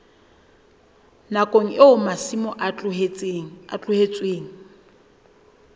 nakong eo masimo a tlohetsweng